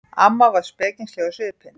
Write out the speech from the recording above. Amma var spekingsleg á svipinn.